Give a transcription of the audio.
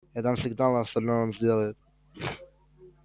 я дам сигнал а остальное он сделает